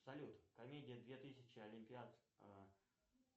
салют комедия две тысячи олимпиад